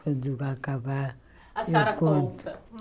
Quando vai acabar... A senhora conta. Eu conto